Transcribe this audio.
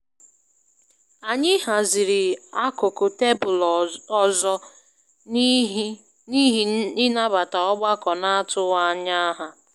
Anyị haziri akụkụ tebụlụ ọzọ n'ihi ịnabata ọgbakọ n'atụghị ányá ha.